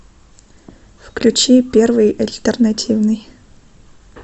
включи первый альтернативный